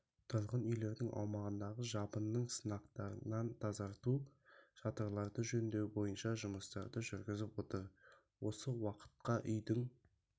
тұрғын үйлердің аумағындағы жабынның сынықтарынан тазарту шатырларды жөндеу бойынша жұмыстарды жүргізіп отыр осы уақытқа үйдің